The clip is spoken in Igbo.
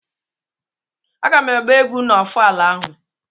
A ga m agba egwu na ofala ahụ.